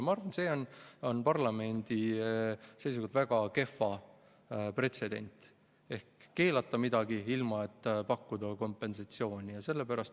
Ma arvan, et see on parlamendi seisukohalt väga kehv pretsedent, kui me keelame midagi ilma, et pakume kompensatsiooni.